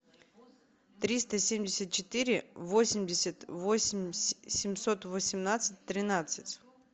триста семьдесят четыре восемьдесят восемь семьсот восемнадцать тринадцать